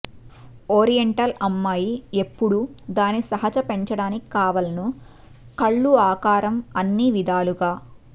oriental అమ్మాయి ఎప్పుడూ దాని సహజ పెంచడానికి కావలెను కళ్ళు ఆకారం అన్ని విధాలుగా